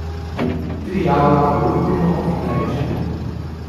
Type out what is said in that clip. Tri jabolka olupimo in narežemo.